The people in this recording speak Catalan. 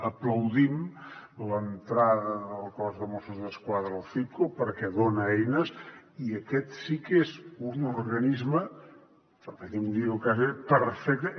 aplaudim l’entrada del cos de mossos d’esquadra al citco perquè dona eines i aquest sí que és un organisme permeti’m dir ho quasi perfecte